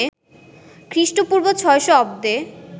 খ্রিস্টপূর্ব ৬০০ অব্দে